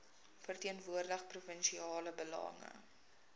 verteenwoordig provinsiale belange